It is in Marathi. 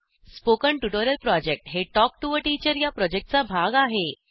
स्पोकन ट्युटोरियल प्रॉजेक्ट हे टॉक टू टीचर या प्रॉजेक्टचा भाग आहे